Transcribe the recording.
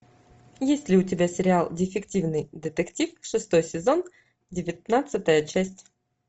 есть ли у тебя сериал дефективный детектив шестой сезон девятнадцатая часть